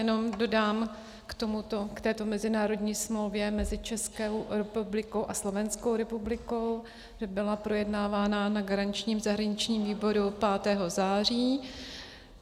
Jenom dodám k této mezinárodní smlouvě mezi Českou republikou a Slovenskou republikou, že byla projednávána na garančním zahraničním výboru 5. září.